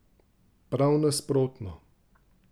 Prav nasprotno!